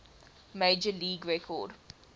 major league record